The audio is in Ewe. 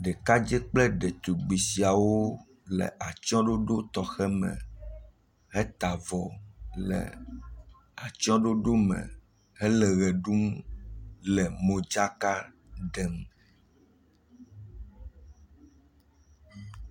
ɖekadzɛ kple ɖetugbi siawo wóle atsɔ̃ɖoɖo tɔxɛ me he ta'vɔ le atsɔ̃ɖoɖo me hele ɣe ɖum le modzaka ɖem